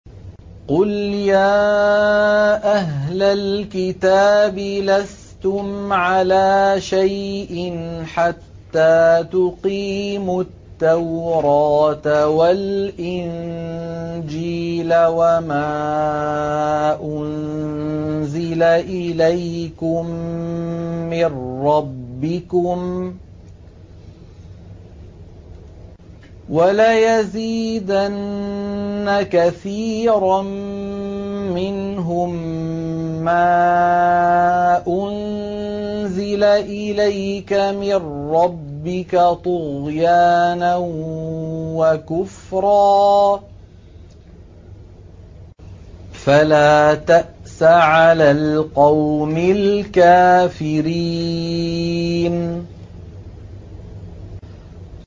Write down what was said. قُلْ يَا أَهْلَ الْكِتَابِ لَسْتُمْ عَلَىٰ شَيْءٍ حَتَّىٰ تُقِيمُوا التَّوْرَاةَ وَالْإِنجِيلَ وَمَا أُنزِلَ إِلَيْكُم مِّن رَّبِّكُمْ ۗ وَلَيَزِيدَنَّ كَثِيرًا مِّنْهُم مَّا أُنزِلَ إِلَيْكَ مِن رَّبِّكَ طُغْيَانًا وَكُفْرًا ۖ فَلَا تَأْسَ عَلَى الْقَوْمِ الْكَافِرِينَ